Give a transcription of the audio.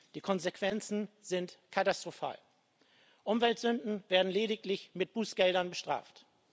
Die Konsequenzen sind katastrophal Umweltsünden werden lediglich mit Bußgeldern bestraft.